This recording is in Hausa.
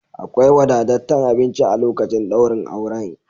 Akwai wadataccen abinci a lokacin daurin auren.